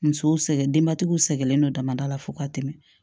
Musow sɛgɛn denbatigiw sɛgɛnnen don damadɔ la fo ka tɛmɛ